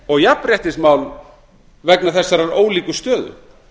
og jafnréttismál vegna þessarar ólíku stöðu